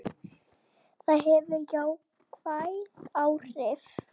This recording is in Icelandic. Það hefur jákvæð áhrif.